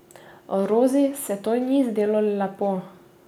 Rozi se to ni zdelo lepo.